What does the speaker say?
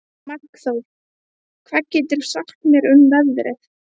Markþór, hvað geturðu sagt mér um veðrið?